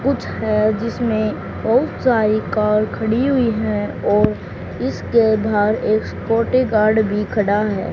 कुछ है जिसमें बहुत सारी कार खड़ी हुई है और इसके बाहर एक स्कॉटेगार्ड भी खड़ा है।